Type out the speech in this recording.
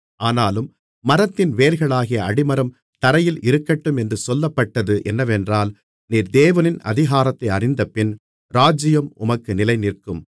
ஆனாலும் மரத்தின் வேர்களாகிய அடிமரம் தரையில் இருக்கட்டும் என்று சொல்லப்பட்டது என்னவென்றால் நீர் தேவனின் அதிகாரத்தை அறிந்தபின் ராஜ்ஜியம் உமக்கு நிலைநிற்கும்